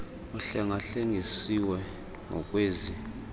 uhlenga hlengisiwe ngkwezi